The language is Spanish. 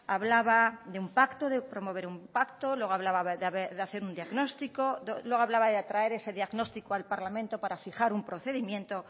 hablaba de un pacto de promover un pacto luego hablaba de hacer un diagnóstico luego hablaba de atraer ese diagnóstico al parlamento para fijar un procedimiento